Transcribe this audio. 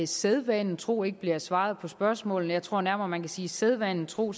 sædvanen tro ikke bliver svaret på spørgsmålene jeg tror nærmere man kan sige sædvanen tro